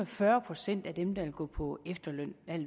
fyrre procent af dem der at gå på efterløn